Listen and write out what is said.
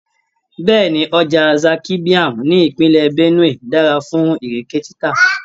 Bẹ́ẹ̀ni, ọjà Zaki Biam ní ìpínlẹ̀ Benue dára fún Ìrèké títà.